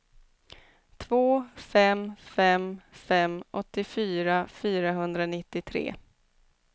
två fem fem fem åttiofyra fyrahundranittiotre